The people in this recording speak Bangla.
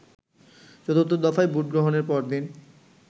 চতুর্থ দফায় ভোটগ্রহণের পরদিন